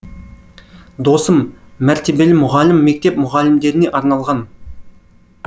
досым мәртебелі мұғалім мектеп мұғалімдеріне арналған